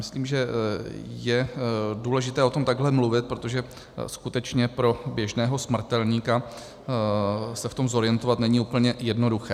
Myslím, že je důležité o tom takhle mluvit, protože skutečně pro běžného smrtelníka se v tom zorientovat není úplně jednoduché.